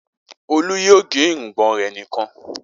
Olú yóò gẹ irùngbọ̀n rẹ̀ nìkan.